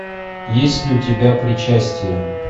есть ли у тебя причастие